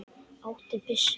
Áttu byssu?